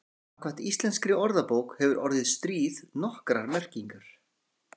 Samkvæmt íslenskri orðabók hefur orðið stríð nokkrar merkingar.